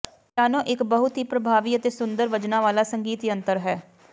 piano ਇਕ ਬਹੁਤ ਹੀ ਪਰਭਾਵੀ ਅਤੇ ਸੁੰਦਰ ਵੱਜਣਾ ਵਾਲਾ ਸੰਗੀਤ ਯੰਤਰ ਹੈ